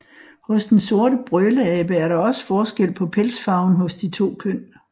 Hos den sorte brøleabe er der også forskel på pelsfarven hos de to køn